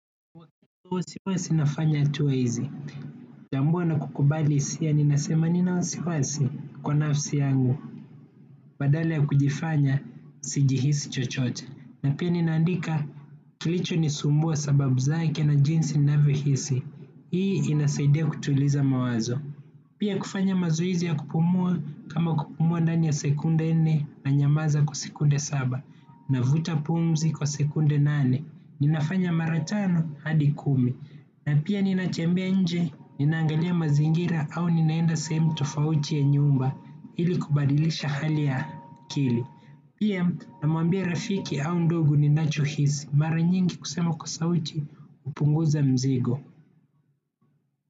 Huwa si nafanya tu hizi. Tambua na kukubali hisia ninasema nina wasiwasi kwa nafsi yangu. Badala ya kujifanya sijihisi chochote. Na pia ninaandika kilichonisumbua sababu zake na jinsi ninavyohisi. Hii inasaidia kutuliza mawazo. Pia kufanya mazoezi ya kupumua kama kupumua ndani ya sekunde nne nanyamanza kwa sekunde saba. Navuta pumzi kwa sekunde nane. Ninafanya mara tano hadi kumi na pia ninatembea nje, ninaangalia mazingira au ninaenda sehemu tofauti ya nyumba ili kubadilisha hali ya akili. Pia namwambia rafiki au ndugu ninachohisi mara nyingi kusema kwa sauti hupunguza mzigo.